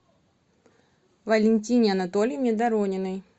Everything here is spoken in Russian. валентине анатольевне дорониной